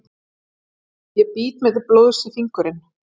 Ég bít mig til blóðs í fingurinn.